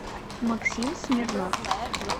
максим смирнов